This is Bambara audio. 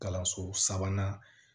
Kalanso sabanan